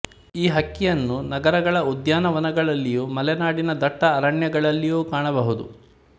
ಈ ಹಕ್ಕಿಯನ್ನು ನಗರಗಳ ಉದ್ಯಾನವನಗಳಲ್ಲಿಯೂ ಮಲೆನಾಡಿನ ದಟ್ಟ ಅರಣ್ಯಗಳಲ್ಲಿಯೂ ಕಾಣಬಹುದು